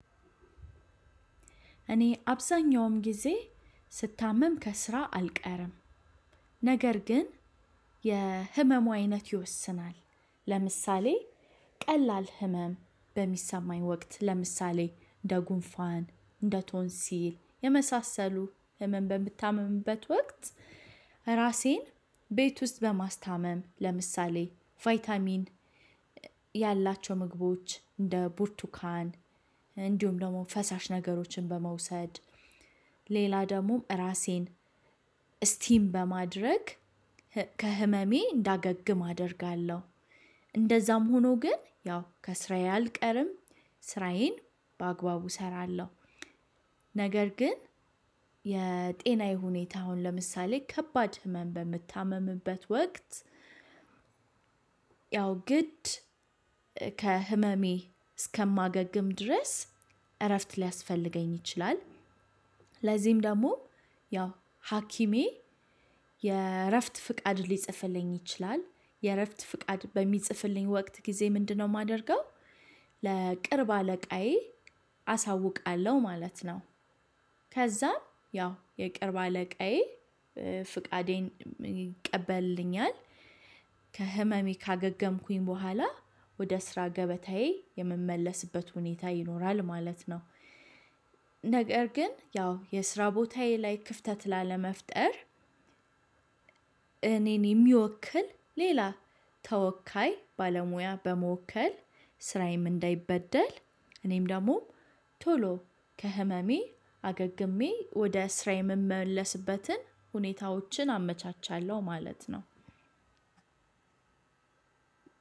እኔ አብዛኛውም ጊዜ ስታመም ከስራ አልቀርም። ነገር ግን እንደ የህመሙ አይነት ይወሰናል። ለምሳሌ ቀላል ህመም በሚሰማኝ ወቅት። እንደ ጉንፋን እንደ ቶንሲል። በምታመምበት ወቅት። ራሴን ቤት ውስጥ በማስታመም ለምሳሌ ቫይታሚን ያላቸው ምግቦች እንደ ቡርቱካን እንዲሁም ደግሞ ፈሳሽ ነገሮችን በመውሰድ። ሌላ ደግሞ ራሴን ስቲም በማድረግ ከህመሜ እንዳገግም አደርጋለሁ። እንደዛም ሆኖ ግን ያው ከስራዬ አልቀርም። ስራዬን በአግባቡ እሰራለሁ። ነገር ግን የጤናዬ ሁኔታ አሁን ለምሳሌ ከባድ ህመም በምታመምበት ወቅት። ያው ግድ ከህመሜ እስከማገግም ድረስ እረፍት ሊያስፈልገኝ ይችላል። ለዚህም ደግሞ ያው ሀኪሜ የእረፍት ፍቃድ ሊጽፍልኝ ይችላል የእረፍት ፍቃድ በሚጽፍልኝ ወቅት ጊዜ ምንድነው የማደርገው? ለቅርብ አለቃዬ አሳውቃለሁ ማለት ነው። ከዛም ያው የቅርብ አለቃዬ ፍቃዴን ይቀበልልኛል። ከህመሜ ካገገምኩ በኋላ ወደ ስራ ገበታየ የምመለስበት ሁኔታ ይኖራል ማለት ነው። ነገር ግን ያው የስራ ቦታዬ ላይ ክፍተት ላለመፍጠር። እኔን የሚወክል ሌላ ተወካይ ባለሙያ በመወከል ስራዬም እንዳይበደል። እኔም ደግሞ ቶሎ ከህመሜ አገግሜ ወደ ስራዬ የምመለስበትን ሁኔታዎችን አመቻቻለሁ። ማለት ነው።